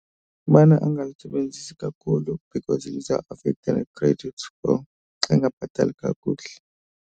Kubana angalisebenzisi kakhulu because lizawuafekhtha ne-credit score xa engabhatali kakuhle.